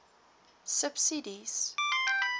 subsidies